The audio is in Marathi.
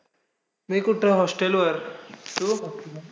मी कुठं, hostel वर. तू?